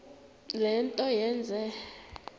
le nto yenze